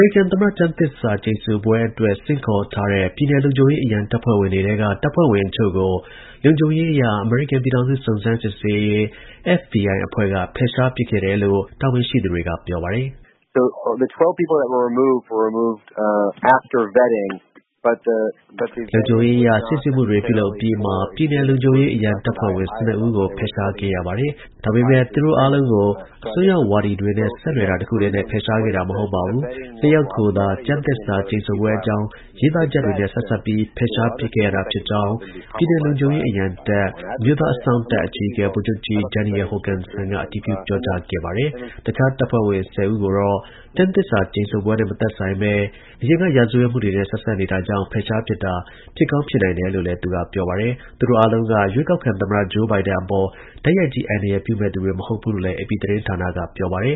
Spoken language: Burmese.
ရိကန် သမ္မတ ကျမ်းသစ္စာ ကျိန်ဆိုပွဲအတွက် ဆင့်ခေါ်ထားတဲ့ ပြည်နယ် လုံခြုံရေး အရံတပ်ဖွဲ့ဝင်တွေက တပ်ဖွဲ့ဝင် အချို့ကို လုံခြုံရေးအရ အမေရိကန် ပြည်ထောင်စု စုံစမ်းစစ်ဆေးရေး FBI က ဖယ်ရှား ပစ်ခဲ့တယ်လို့ အမေရိကန် ကာကွယ်ရေး ပင်တဂွန် စစ် ဌာနချုပ်က တာဝန်ရှိသူတွေက ပြောပါတယ်။ လုံခြုံရေးအရ စိစစ်မှုတွေ ပြုလုပ်အပြီးမှာ ပြည်နယ် လုံခြုံရေး အရံတပ်ဖွဲ့ဝင် ၁၂ ဦးကို ဖယ်ရှားခဲ့ရပါတယ်။ ဒါပေမဲ့ သူတို့အားလုံးကို အစွန်းရောက် ဝါဒီတွေနဲ့ ဆက်နွယ်တာ တစ်ခုတည်းနဲ့ ဖယ်ရှားခဲ့တာ မဟုတ်ပါဘူး။ ၂ ယောက်ကိုသာ ကျမ်းသစ္စာကျိန်ဆိုပွဲအကြောင်း ရေးသားချက်တွေနဲ့ ဆက်စပ်ပြီး ဖယ်ရှားပစ်ခဲ့ရတာဖြစ်ကြောင်း ပြည်နယ် လုံခြုံရေး အရံတပ် အမျိုးသား အစောင့်တပ် အကြီးအကဲ ဗိုလ်ချုပ်ကြီး Daniel Hokanson က အတည်ပြု ပြောကြား ခဲ့ပါတယ်။ တခြား တပ်ဖွဲ့ဝင် ၁၀ ဦးကိုတော့ ကျန်းသစ္စာ ကျိန်ဆိုပွဲနဲ့ မသက်ဆိုင်ဘဲ အရင်ကရာဇဝတ်မှုတွေနဲ့ ဆက်စပ်နေတာကြောင့်ဖြစ်ကောင်း ဖြစ်နိုင်တယ်လို့လည်း သူက ပြောပါတယ်။ သူတို့အားလုံးက ရွေးကောက်ခံ သမ္မတ Joe Biden အပေါ် တိုက်ရိုက်ကြီး အန္တရာယ်ပြုမယ့်သူတွေ မဟုတ်ဘူးလို့လည်း AP သတင်း ဌာနက ပြောပါတယ်